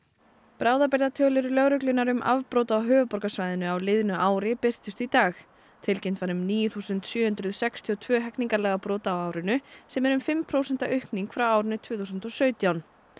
bráðabirgðatölur lögreglunnar um afbrot á höfuðborgarsvæðinu á liðnu ári birtust í dag tilkynnt var um níu þúsund sjö hundruð sextíu og tvö hegningarlagabrot á árinu sem er um fimm prósenta aukning frá árinu tvö þúsund og sautján